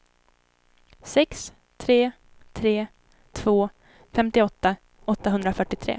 sex tre tre två femtioåtta åttahundrafyrtiotre